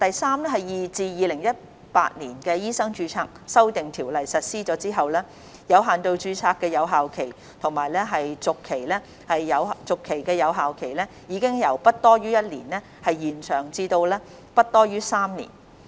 三自《2018年醫生註冊條例》實施後，有限度註冊的有效期和續期有效期已由不多於1年延長至不多於3年。